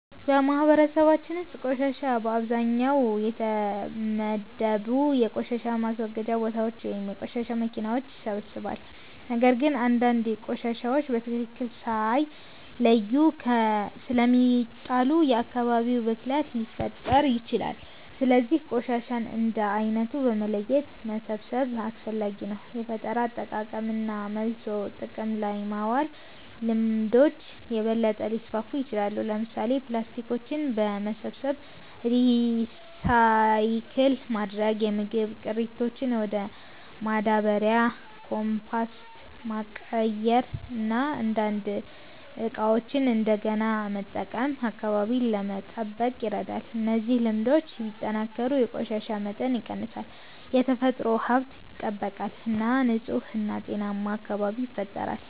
በማህበረሰባችን ውስጥ ቆሻሻ በአብዛኛው በተመደቡ የቆሻሻ ማስወገጃ ቦታዎች ወይም በቆሻሻ መኪናዎች ይሰበሰባል። ነገር ግን አንዳንድ ቆሻሻዎች በትክክል ሳይለዩ ስለሚጣሉ የአካባቢ ብክለት ሊፈጠር ይችላል። ስለዚህ ቆሻሻን እንደ ዓይነቱ በመለየት መሰብሰብ አስፈላጊ ነው። የፈጠራ አጠቃቀምና መልሶ ጥቅም ላይ ማዋል ልምዶች የበለጠ ሊስፋፉ ይችላሉ። ለምሳሌ፣ ፕላስቲኮችን በመሰብሰብ ሪሳይክል ማድረግ፣ የምግብ ቅሪቶችን ወደ ማዳበሪያ (ኮምፖስት) መቀየር እና አንዳንድ ዕቃዎችን እንደገና መጠቀም አካባቢን ለመጠበቅ ይረዳል። እነዚህ ልምዶች ቢጠናከሩ የቆሻሻ መጠን ይቀንሳል፣ የተፈጥሮ ሀብት ይጠበቃል እና ንጹህ እና ጤናማ አካባቢ ይፈጠራል።